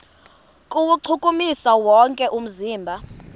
kuwuchukumisa wonke umzimba